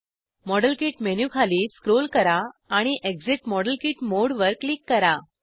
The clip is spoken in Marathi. मॉडेल किट मेनू खाली स्क्रोल करा आणि एक्सिट मॉडेल किट मोडे वर क्लिक करा